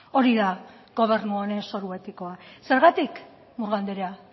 hori da gobernu honen zoru etikoa zergatik murga andrea